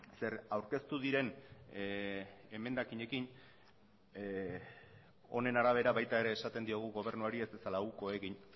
zer aurkeztu diren emendakinekin honen arabera baita ere esaten diogu gobernuari ez dezala uko egin